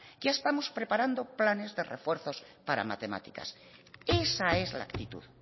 ya estamos preparando planes de refuerzos para matemáticas esa es la actitud